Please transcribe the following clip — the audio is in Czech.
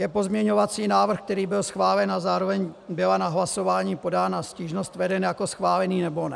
Je pozměňovací návrh, který byl schválen a zároveň byla na hlasování podána stížnost, veden jako schválený, nebo ne?